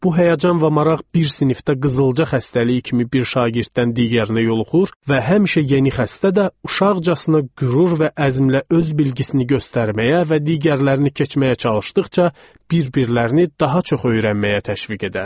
Bu həyəcan və maraq bir sinifdə qızılca xəstəliyi kimi bir şagirddən digərinə yoluxur və həmişə yeni xəstədə də uşaqcasına qürur və əzmlə öz bilgisini göstərməyə və digərlərini keçməyə çalışdıqca bir-birlərini daha çox öyrənməyə təşviq edər.